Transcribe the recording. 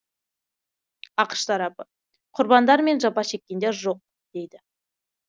ақш тарапы құрбандар мен жапа шеккендер жоқ дейді